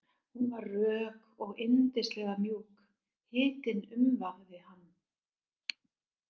Hún var rök og yndislega mjúk, hitinn umvafði hann.